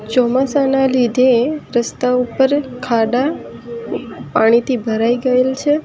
ચોમાસાના લીધે રસ્તા ઉપર ખાડા પાણીથી ભરાઈ ગયેલ છે.